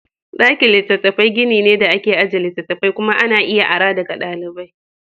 Ɗakin littatafai gini ne da ake ajiye littattafai kuma ana iya ara daga ɗalibai.